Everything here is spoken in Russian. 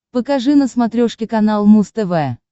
покажи на смотрешке канал муз тв